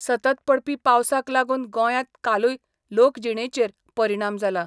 सतत पडपी पावसाक लागून गोंयांत कालूय लोकजिणेचेर परिणाम जाला.